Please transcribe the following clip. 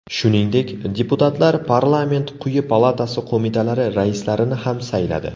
Shuningdek, deputatlar parlament quyi palatasi qo‘mitalari raislarini ham sayladi.